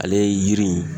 Ale ye yiri ye